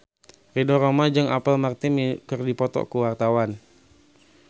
Ridho Roma jeung Apple Martin keur dipoto ku wartawan